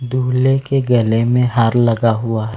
दुल्हे के गले में हार लगा हुआ हैं।